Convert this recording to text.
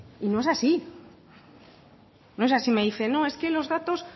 y no es así no es así me dice no es que los datos